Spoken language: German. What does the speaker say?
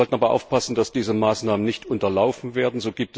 Wir sollten aber aufpassen, dass diese Maßnahmen nicht unterlaufen werden.